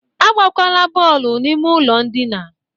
Agbakwala bọọlụ n'ime ụlọ ndịna!